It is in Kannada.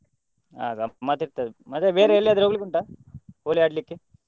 ಹಾ ಗಮ್ಮತ್ ಇರ್ತದೆ ಮತ್ತೆ ಬೇರೆ ಎಲ್ಲಿಯಾದ್ರು ಹೋಗ್ಲಿಕ್ಕೆ ಉಂಟಾ Holi ಆಡ್ಲಿಕ್ಕೆ?